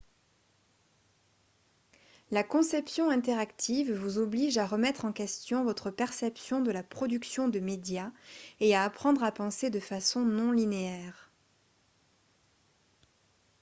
la conception interactive vous oblige à remettre en question votre perception de la production de médias et à apprendre à penser de façon non linéaire